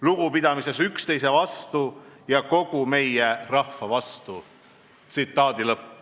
Lugupidamises üksteise vastu ja kogu meie rahva vastu.